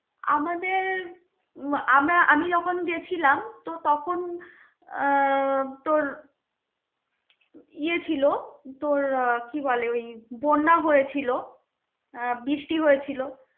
আমাদের উম আমরা আমি যখন গেছিলাম তো তখন আহ তোর ইয়ে ছিলো. তোর কি বলে ওই বন্যা হয়েছিল, আহ বৃষ্টি হয়েছিল.